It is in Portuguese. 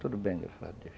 Tudo bem, graças a Deus.